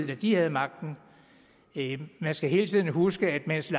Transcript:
da de havde magten man skal hele tiden huske at mens